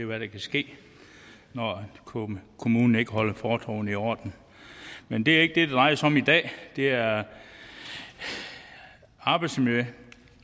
hvad der kan ske når kommunen kommunen ikke holder fortovene i orden men det er ikke det det drejer sig om i dag det er arbejdsmiljø og